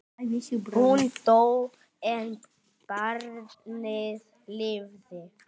Hún dó en barnið lifði.